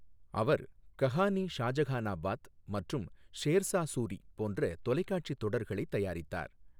அவர் கஹானி ஷாஜகானபாத் மற்றும் ஷோ்சா சூரி போன்ற தொலைக்காட்சி தொடர்களை தயாரித்தார்.